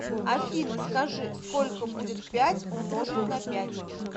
афина скажи сколько будет пять умножить на пять